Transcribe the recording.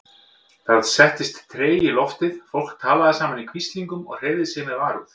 Það settist tregi í loftið, fólk talaði saman í hvíslingum og hreyfði sig með varúð.